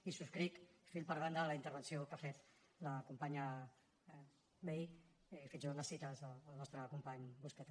i subscric fil per randa la intervenció que ha fet la companya vehí fins i tot les cites del nostre company busqueta